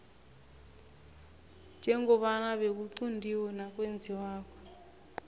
njengoba bekuquntiwe nakwenziwako